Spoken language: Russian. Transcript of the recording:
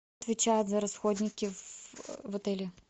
отвечает за расходники в отеле